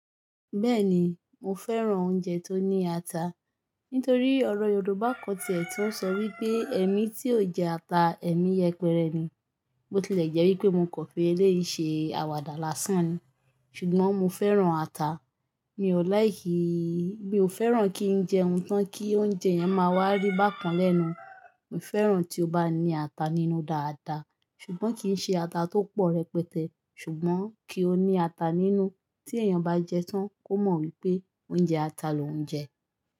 Bẹ́ẹ̀ni, mo fẹ́ràn oúnjẹ tó ní ata. Nítorí ọ̀rọ̀ Yorùbá kan tìẹ̀ tuń sọ wípé "Ẹmii tí ò jẹ ata, ẹmi yẹpẹrẹ ni." Bo tilẹ̀ jẹ́ wípé mo kò fi ẹlẹ́ yìí ṣe àwàdà lásán ni, ṣùgbọ́n mo fẹ́ràn ata. Mi ò láikì yí, mi ò fẹ́ràn kí ń jẹun tán kí oúnjẹ yẹn máa wá rí bákan lẹ́nu. Mo fẹ́ràn tí ó bá ní ata nínú dáadáa, ṣùgbọ́n kì í ṣe ata tó pọ̀ rẹpẹtẹ. Ṣùgbọ́n kí ó ní ata nínú tí èèyàn bá jẹ tán kó mọ̀ wípé ó ń jẹ ata lòun jẹ.